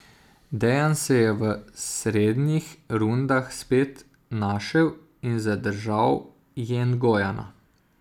Dejan se je v srednjih rundah spet našel in zadržal Jengojana.